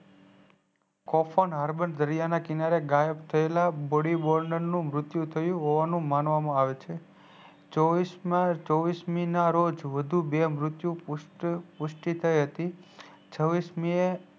કોપવાન હારવાન દરિયાના કિનારે ગાયબ થયેલા બોડીબોદલ નું મુત્યુ થયું માનવામાં આવે છે ચોવીસ મીના રોજ વઘુ બે મુત્યુ પુસ્તિ થઈહતી છવીસમીએ